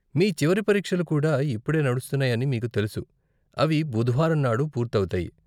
మీ చివరి పరీక్షలు కూడా ఇప్పుడే నడుస్తున్నాయని మీకు తెలుసు, అవి బుధవారం నాడు పూర్తి అవుతాయి.